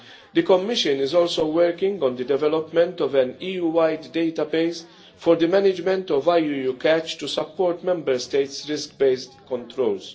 this week. The Commission is also working on the development of an EU wide database for the management of IUU catch to support Member States' risk based